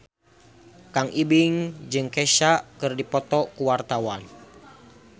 Kang Ibing jeung Kesha keur dipoto ku wartawan